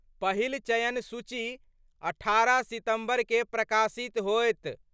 पहिल चयन सूची 18 सितंबर क' प्रकाशित होएत।